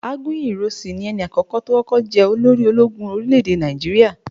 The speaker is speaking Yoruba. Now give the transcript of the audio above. Agunyi Ironsi ni ẹni àkókò tó kọ́kọ́ jẹ olórí ológun orílẹ̀ èdè Nàìjíríà.